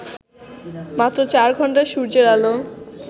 মাত্র চার ঘণ্টা সূর্যের আলো